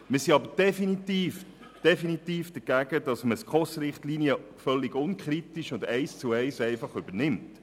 Wir sind aber definitiv dagegen, dass man die SKOS-Richtlinien völlig unkritisch und einfach eins zu eins übernimmt.